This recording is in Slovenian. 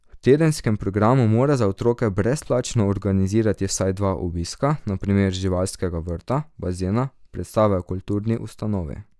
V tedenskem programu mora za otroke brezplačno organizirati vsaj dva obiska, na primer živalskega vrta, bazena, predstave v kulturni ustanovi.